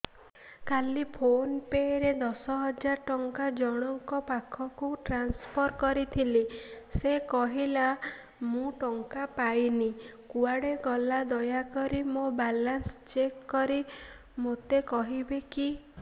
କାଲି PhonePe ରେ ଦଶ ହଜାର ଟଙ୍କା ଜଣକ ପାଖକୁ ଟ୍ରାନ୍ସଫର୍ କରିଥିଲି ସେ କହିଲା ମୁଁ ଟଙ୍କା ପାଇନି କୁଆଡେ ଗଲା ଦୟାକରି ମୋର ବାଲାନ୍ସ ଚେକ୍ କରି ମୋତେ କହିବେ କି